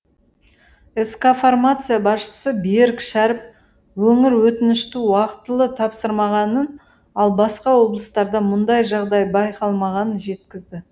скфармация басшысы берік шәріп өңір өтінішті уақытылы тапсырмағанын ал басқа облыстарда мұндай жағдай байқалмағанын жеткізді